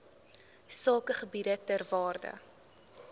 sakegebiede ter waarde